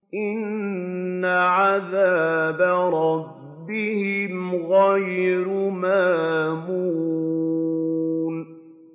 إِنَّ عَذَابَ رَبِّهِمْ غَيْرُ مَأْمُونٍ